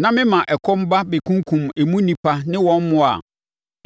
na mema ɛkɔm ba bɛkunkum emu nnipa ne wɔn mmoa a,